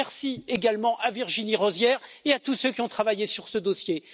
Merci également à Virginie Rozière et à tous ceux qui ont travaillé sur ce dossier.